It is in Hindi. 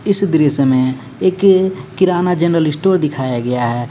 इस दृश्य में एक किराना जनरल इस्टोर दिखाया गया है.